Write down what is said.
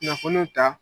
Kunnafoniw ta